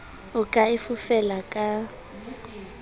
o ka e fofela ka